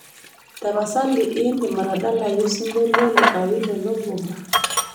tapasali indim atadalayu osingolio le awilo logomba